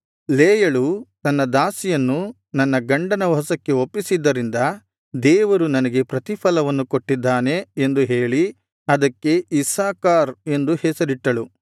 ಲೇಯಳು ನನ್ನ ದಾಸಿಯನ್ನು ನನ್ನ ಗಂಡನ ವಶಕ್ಕೆ ಒಪ್ಪಿಸಿದ್ದರಿಂದ ದೇವರು ನನಗೆ ಪ್ರತಿಫಲವನ್ನು ಕೊಟ್ಟಿದ್ದಾನೆ ಎಂದು ಹೇಳಿ ಅದಕ್ಕೆ ಇಸ್ಸಾಕಾರ್ ಎಂದು ಹೆಸರಿಟ್ಟಳು